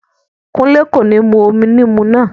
Kúnlé kò ní mú omi níìmù náà